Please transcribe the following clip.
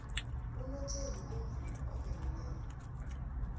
unothembi umvumi oveleleko